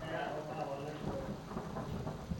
kaya orkaawa lai orok